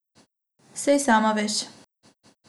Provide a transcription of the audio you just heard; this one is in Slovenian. Saj sama veš.